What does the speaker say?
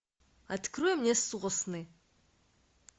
открой мне сосны